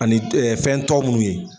Ani fɛn tɔw minnu ye